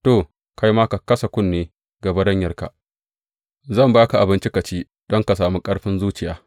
To, kai ma ka kasa kunne ga baranyarka, zan ba ka abinci ka ci don ka sami ƙarfin tafiya.